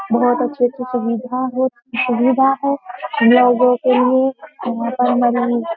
बहुत अच्छी सुविधा हो सुविधा है हम लोगों के लिए यहाँ पर हमारी --